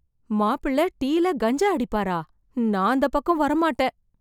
மாப்பிள்ள டீ ல கஞ்சா அடிப்பாரா? நான் அந்த பக்கம் வரமாட்டேன்